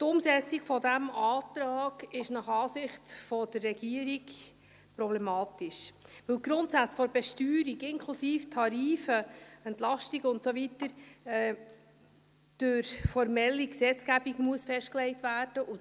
Die Umsetzung dieses Antrags ist nach Ansicht der Regierung problematisch, weil die Grundsätze der Besteuerung inklusive Tarife und Entlastungen und so weiter durch die formelle Gesetzgebung festgelegt werden müssen.